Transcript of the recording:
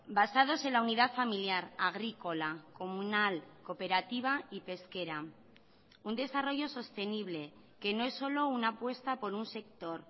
basados en la unidad familiar agrícola comunal cooperativa y pesquera un desarrollo sostenible que no es solo una apuesta por un sector